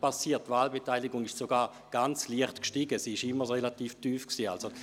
Die Wahlbeteiligung stieg sogar ganz leicht an, wobei sie immer relativ tief war.